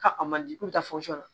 Ka a man di k'u ta la